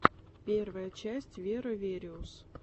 первая часть веро вериус